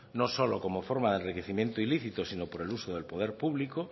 no solo como forma de enriquecimiento ilícito sino por el uso del poder público